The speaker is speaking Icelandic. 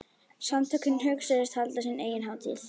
Samtökin hugðust halda sína eigin hátíð.